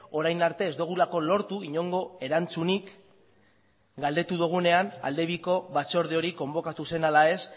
orain arte ez dugulako lortu inongo erantzunik galdetu dugunean aldebiko batzorde hori konbokatu zen ala ez